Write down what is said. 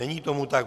Není tomu tak.